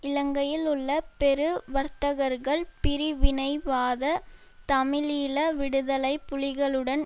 இலங்கையில் உள்ள பெரு வர்த்தகர்கள் பிரிவினைவாத தமிழீழ விடுதலை புலிகளுடன்